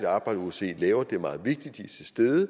arbejde osce laver og det er meget vigtigt de er til stede i